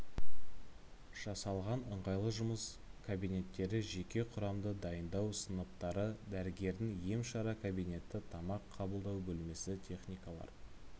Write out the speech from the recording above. жасалған ыңғайлы жұмыс кабинеттері жеке құрамды дайындау сыныптары дәрігердің ем-шара кабинеті тамақ қабылдау бөлмесі техникалар